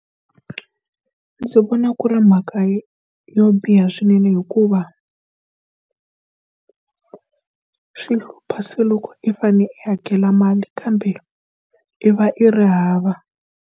Ndzi vona ku ri mhaka yo biha swinene hikuva swi hlupha se loko i fanele i hakela mali kambe i va i ri hava.